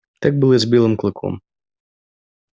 так было и с белым клыком